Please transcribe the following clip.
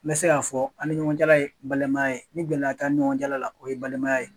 N bɛ se k'a fɔ ani ɲɔgɔncɛla ye balimaya ye, ni gɛlɛya tɛ ani ɲɔgɔncɛla la o ye balimaya ye.